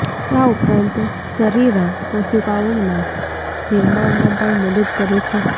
આ ઉપરાંત શરીરાં કોશિકાઓના નિર્માણમાં પણ મદદ કરે છે